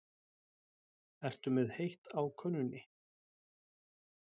Ertu með heitt á könnunni?